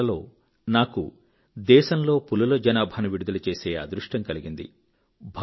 గత నెలలో నాకు దేశంలో పులి జనాభాను విడుదల చేసే అదృష్టం కలిగింది